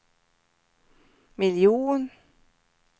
miljon